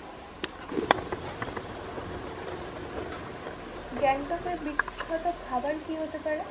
গ্যাংটক এর বিখ্যাত খাবার কি হতে পারে?